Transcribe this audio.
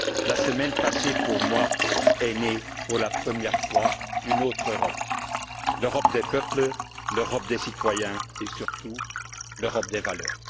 La semaine dernière, pour moi, est née pour la première fois une autre Europe l'Europe des peuples, l'Europe des citoyens et surtout l'Europe des valeurs.